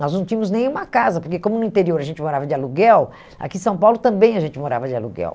Nós não tínhamos nenhuma casa, porque como no interior a gente morava de aluguel, aqui em São Paulo também a gente morava de aluguel.